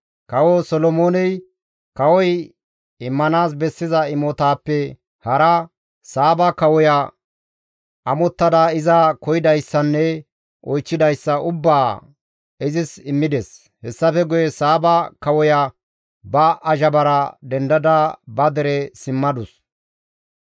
Kawo Solomooney kawoy immanaas bessiza imotaappe hara, Saaba kawoya amottada iza koyidayssanne oychchidayssa ubbaa izis immides; hessafe guye Saaba kawoya ba azhabara dendada ba dere simmadus.